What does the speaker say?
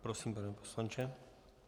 Prosím, pane poslanče.